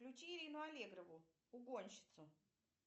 включи ирину аллегрову угонщицу